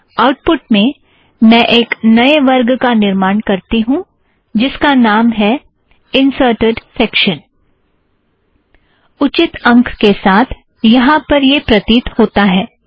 output में मैं एक नए वर्ग का निर्माण करती हूँ जिसका नाम है इंसर्टेड़ सेक्शन उचित अंक के साथ यहाँ पर यह प्रतीत होता है